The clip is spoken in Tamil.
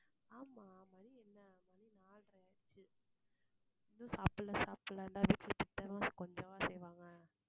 ஆமாம். மணி என்ன? மணி நாலரை ஆச்சு. இன்னும் சாப்பிடலை சாப்பிடலைன்னா வீட்ல திட்டாம கொஞ்சவா செய்வாங்க.